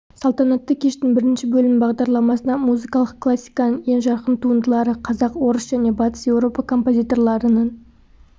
салтанатты кештің бірінші бөлім бағдарламасына музыкалық классиканың ең жарқын туындылары қазақ орыс және батыс еуропа композиторларының